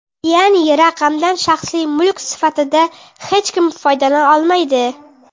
Ya’ni raqamdan shaxsiy mulk sifatida hech kim foydalana olmaydi.